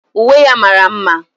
Uwe ya mara mma